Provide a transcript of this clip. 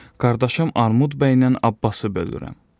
Qardaşım Armud bəylə abbası bölürəm.